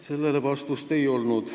Sellele vastust ei olnud.